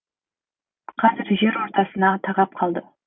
қазір жер ортасына тақап қалды